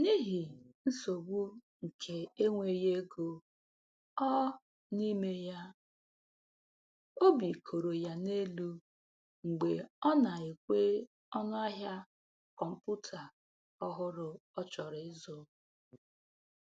N'ihe nsogbu nke enweghị ego ọ n'ime ya, obi koro ya n'elu mgbe ọ na-ekwe ọnụ ahịa kọmputa ọhụrụ ọ chọrọ ịzụ